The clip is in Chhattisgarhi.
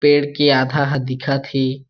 पेड़ के आधा ह दिखत हे।